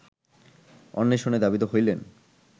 অন্বেষণে ধাবিত হইলেন